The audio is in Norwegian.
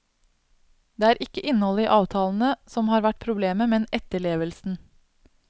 Det er ikke innholdet i avtalene som har vært problemet, men etterlevelsen.